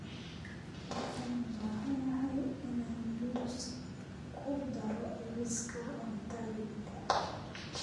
Waxaan u baahanahay inaan muus ku daro liiska cuntadayda